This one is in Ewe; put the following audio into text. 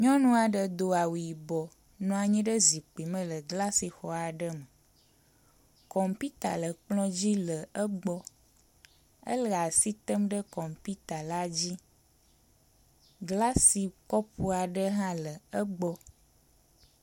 Nyɔnu aɖe do awu yibɔ nɔ anyi ɖe zikpui me le glasixɔ aɖe me. Kɔmputa le kplɔ dzi le egbɔ ele asi tem ɖe kɔmputa la dzi. Glasi kɔpu aɖe hã le egbɔ.